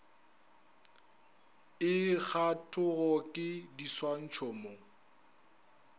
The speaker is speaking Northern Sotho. e kgathwago ke diswantšho mo